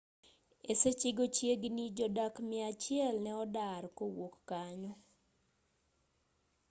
e sechego chiegini jodak miachiel ne odar kowuok kanyo